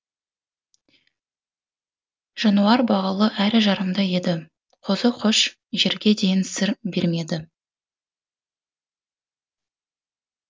жануар бағулы әрі жарамды еді қозы көш жерге дейін сыр бермеді